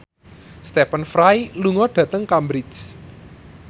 Stephen Fry lunga dhateng Cambridge